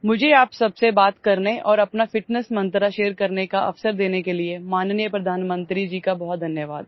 Many thanks to the Honorable Prime Minister for giving me the opportunity to talk to you all and share my fitness mantra